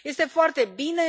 Este foarte bine.